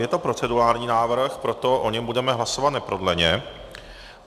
Je to procedurální návrh, proto o něm budeme hlasovat neprodleně.